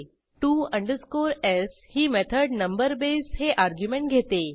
TO s ही method number base हे argument घेते